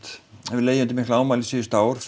hefur legið undir miklu ámæli síðustu ár